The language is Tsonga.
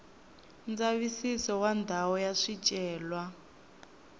ndzavisiso wa ndhawu ya swicelwa